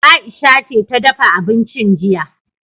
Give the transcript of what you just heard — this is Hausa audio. Aisha ce ta dafa abincin jiya.